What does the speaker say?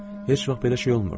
Heç vaxt belə şey olmurdu.